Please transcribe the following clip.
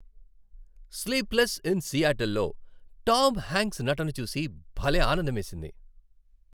"Sleepless in Seattle" లో Tom Hank నటన చూసి భలే ఆనందమేసింది.